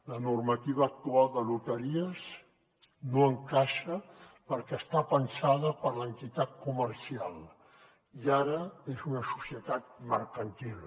la normativa actual de loteries no encaixa perquè està pensada per a l’entitat comercial i ara és una societat mercantil